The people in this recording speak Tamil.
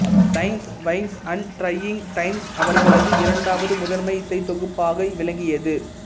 lines vines and trying times அவர்களது இரண்டாவது முதன்மை இசைத் தொகுப்பாக விளங்கியது